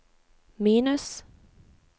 minus